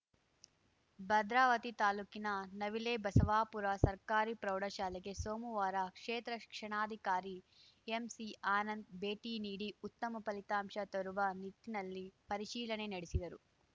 ಭದ್ರಾವತಿ ತಾಲೂಕಿನ ನವಿಲೆಬಸವಾಪುರ ಸರ್ಕಾರಿ ಪ್ರೌಢಶಾಲೆಗೆ ಸೋಮವಾರ ಕ್ಷೇತ್ರ ಶಿಕ್ಷಣಾಧಿಕಾರಿ ಎಂಸಿ ಆನಂದ್‌ ಭೇಟಿ ನೀಡಿ ಉತ್ತಮ ಫಲಿತಾಂಶ ತರುವ ನಿಟ್ಟಿನಲ್ಲಿ ಪರಿಶೀಲನೆ ನಡೆಸಿದರು